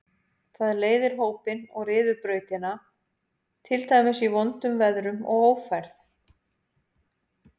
Það leiðir hópinn og ryður brautina, til dæmis í vondum veðrum og ófærð.